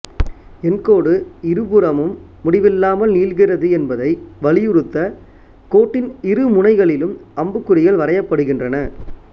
எண்கோடு இருபுறமும் முடிவில்லாமல் நீள்கிறது என்பதை வலியுறுத்த கோட்டின் இருமுனைகளிலும் அம்புக்குறிகள் வரையப்படுகின்றன